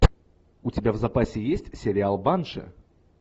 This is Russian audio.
у тебя в запасе есть сериал банши